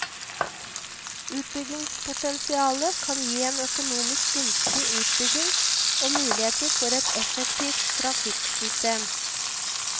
Utbyggingspotensialet kan gi en økonomisk gunstig utbygging og muligheter for et effektivt trafikksystem.